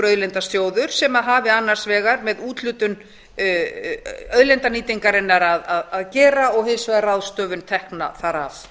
auðlindasjóð sem hafi annars vegar með úthlutun auðlindanýtingarinnar að gera og hins vegar ráðstöfun tekna þar af